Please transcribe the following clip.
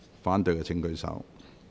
反對的請舉手。